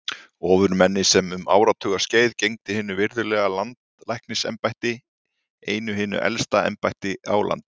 Ofurmenni sem um áratuga skeið gegndi hinu virðulega landlæknisembætti, einu hinu elsta embætti á landinu.